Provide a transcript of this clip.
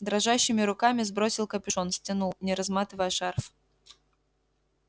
дрожащими руками сбросил капюшон стянул не разматывая шарф